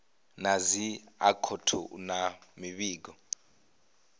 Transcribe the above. na dzi akhouthu na mivhigo